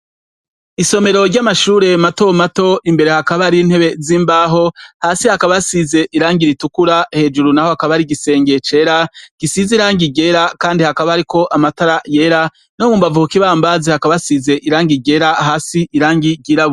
Isomero ryamashure matomato, imbere hakaba har'intebe zimbaho, hasi haka hasize irangi ritukura, hejuru naho hakaba har'igisenge cera gisize irangi ryera kandi hakaba hariko amatara yera no mu mbavu ku kibambazi hakaba hasize irangi ryera, hasi irangi ry'irabura.